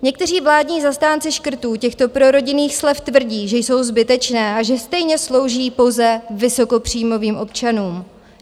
Někteří vládní zastánci škrtů těchto prorodinných slev tvrdí, že jsou zbytečná a že stejně slouží pouze vysokopříjmových občanům.